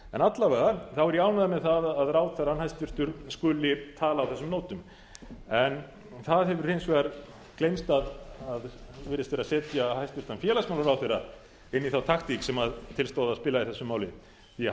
alla vega er ég ánægður með það að ráðherrann hæstvirtur skuli tala á þessum nótum það hefur hins vegar gleymst virðist vera að setja hæstvirts félagsmálaráðherra inn í þá taktík sem til stóð að spila í þessu máli því að